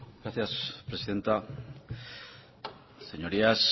gracias presidenta señorías